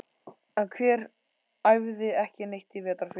En hver æfði ekki neitt í vetrarfríinu?